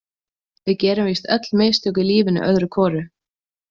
Við gerum víst öll mistök í lífinu öðru hvoru.